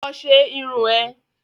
Lọ ṣe irun ẹ̀!